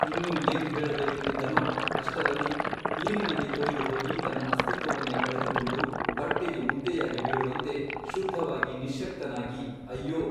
ಇನ್ನೂ ಏನು ಹೇಳಬೇಕೆಂದಿದ್ದನೋ ಅಷ್ಟರಲ್ಲಿ ನೀರಿನಲ್ಲಿ ತೊಯ್ದು ಹೋಗಿ ತನ್ನ ಅಸ್ತಿತ್ವವನ್ನೇ ಕಳೆದುಕೊಂಡು ಬಟ್ಟೆಯು ಮುದ್ದೆಯಾಗಿ ಬೀಳುವಂತೆ ಶುದ್ಧವಾಗಿ ನಿಶ್ಯಕ್ತನಾಗಿ ಅಯ್ಯೋ !